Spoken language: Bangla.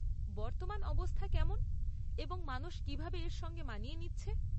বর্তমানে অবস্থা কেমন এবং মানুষ কিভাবে এর সঙ্গে মানিয়ে নিচ্ছে।